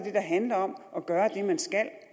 handler om at gøre det man skal og